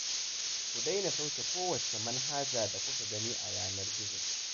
Ku daina sauke kowacce manhaja da kuka gani a yanar gizo